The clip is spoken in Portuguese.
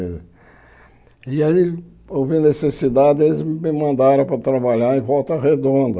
E aí houve necessidade e eles me mandaram para trabalhar em Volta Redonda.